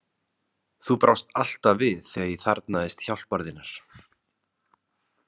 Þú brást alltaf við þegar ég þarfnaðist hjálpar þinnar.